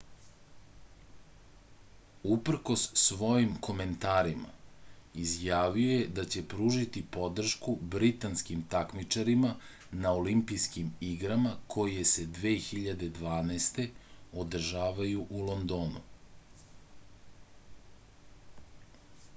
uprkos svojim komentarima izjavio je da će pružiti podršku britanskim takmičarima na olimpijskim igrama koje se 2012. održavaju u londonu